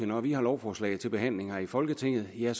når vi har lovforslag til behandling her i folketinget er